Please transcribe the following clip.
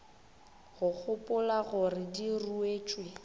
ka gopola gore di ruetšwe